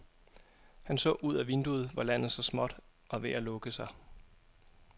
Han så ud ad vinduet, hvor landet så småt var ved at lukke sig.